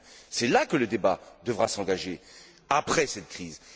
C'est là que le débat devra s'engager après cette crise.